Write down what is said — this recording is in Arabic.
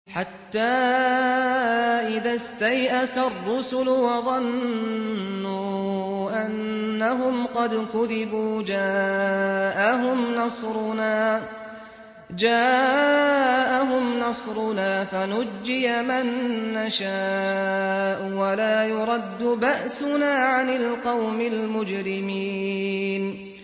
حَتَّىٰ إِذَا اسْتَيْأَسَ الرُّسُلُ وَظَنُّوا أَنَّهُمْ قَدْ كُذِبُوا جَاءَهُمْ نَصْرُنَا فَنُجِّيَ مَن نَّشَاءُ ۖ وَلَا يُرَدُّ بَأْسُنَا عَنِ الْقَوْمِ الْمُجْرِمِينَ